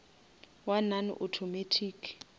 wa non automatic